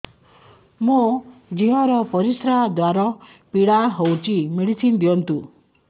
ମୋ ଝିଅ ର ପରିସ୍ରା ଦ୍ଵାର ପୀଡା ହଉଚି ମେଡିସିନ ଦିଅନ୍ତୁ